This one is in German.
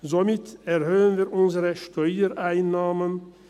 Somit erhöhen wir unsere Steuereinnahmen.